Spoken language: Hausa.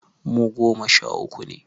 Mu goma sha uku ne